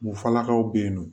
Mufalakaw be yen nɔ